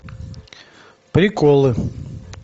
приколы